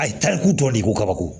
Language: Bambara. A ye tariku tɔ de ko kabako